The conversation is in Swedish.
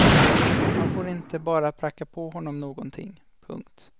Man får inte bara pracka på honom någonting. punkt